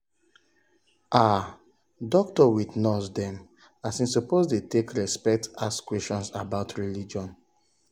ah doc with nurse dem as in suppose dey take respect ask questions about religion.